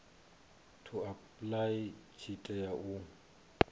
to apply tshi tea u